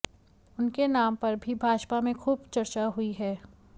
उनके नाम पर भी भाजपा में खूब चर्चा हुई है